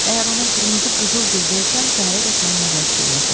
Əgər ona qırmızı qızılgül versəm, səhərədək mənlə rəqs eləyəcək.